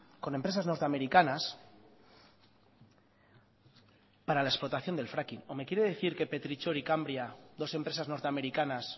con empresas norteamericanas para la explotación del fracking o me quiere decir que petrichor y cambria dos empresas norteamericanas